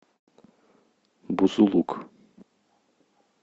бузулук